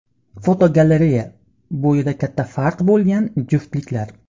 Fotogalereya: Bo‘yida katta farq bo‘lgan juftliklar.